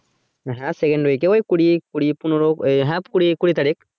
হ্যাঁ second week এ ওই কুড়ি কুড়ি পনেরো ওই হ্যাঁ কুড়ি কুড়ি তারিখ